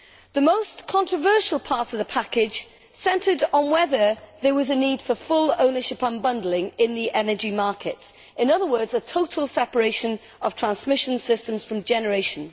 The most controversial part of the package centred on whether there was a need for full ownership unbundling in the energy markets in other words, a total separation of transmission systems from generation.